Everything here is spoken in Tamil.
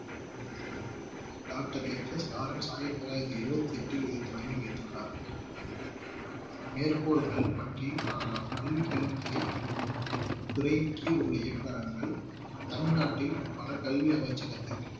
doctor ஹச் எஸ் லாரன்ஸ் ஆயிரத்தி தொள்ளாயிரத்தி எழுபத்தி எட்டில் இதை தொடங்கி வைத்துள்ளார் மேற்கோள்கள் பற்றியும் காணலாம் பள்ளிக் கல்வித்துறை துறையின் கீழ் உள்ள இயக்குனர்கள் தமிழ்நாட்டில் பல கல்வி அமைச்சகத்திற்கு